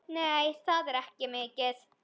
Nei, það er ekki mikið.